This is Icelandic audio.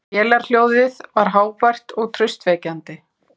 Vélarhljóðið var hávært og traustvekjandi.